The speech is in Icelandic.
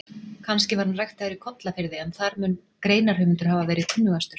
Kannski var hann ræktaður í Kollafirði en þar mun greinarhöfundur hafa verið kunnugastur?